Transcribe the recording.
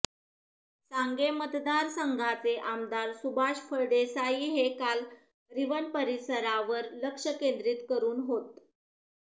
सांगे मतदारसंघाचे आमदार सुभाष फळदेसाई हे काल रिवण परिसरावर लक्ष केंद्रीत करून होत